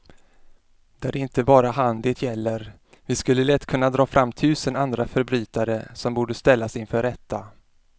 Det är inte bara han det gäller, vi skulle lätt kunna dra fram tusen andra förbrytare som borde ställas inför rätta.